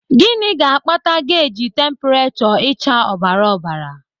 Gịnị ga-akpata geji tempurechọ ịcha ọbara ọbara?